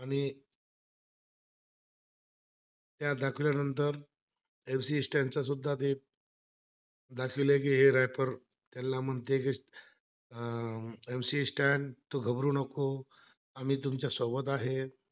MC Stand सुद्धा ते दाखविला की हे rapper त्याला म्हणते की अह हो MC Stand तू घाबरू नको आम्ही तुमच्यासोबत आहे